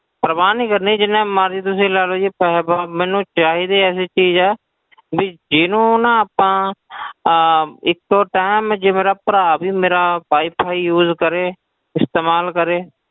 ਪਰਵਾਹ ਨੀ ਕਰਨੀ ਜਿੰਨੇ ਮਰਜ਼ੀ ਤੁਸੀਂ ਲੈ ਲਓ ਜੀ ਪੈਸੇ ਪੂਸੇ ਮੈਨੂੰ ਚਾਹੀਦੀ ਐਸੀ ਚੀਜ਼ ਹੈ ਵੀ ਜਿਹਨੂੰ ਨਾ ਆਪਾਂ ਅਹ ਇੱਕੋ time ਜੇ ਮੇਰਾ ਭਰਾ ਵੀ ਮੇਰਾ wi-fi use ਕਰੇ ਇਸਤੇਮਾਲ ਕਰੇ,